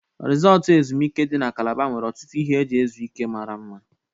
Risọtụ ezumike dị na Kalaba nwere ọtụtụ ihe eji ezu ike mara mma.